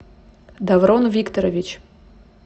даврон викторович